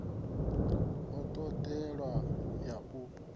i t odeaho ya u